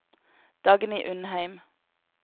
Dagny Undheim